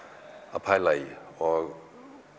að pæla í og